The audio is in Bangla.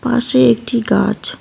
পাশে একটি গাছ।